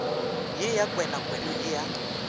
ye ya kwenakwena ye ya